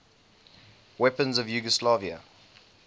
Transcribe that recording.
weapons of yugoslavia